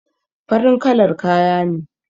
Farin kalar kaya ne